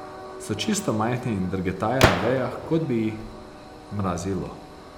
So čisto majhni in drgetajo na vejah, kot bi jih mrazilo.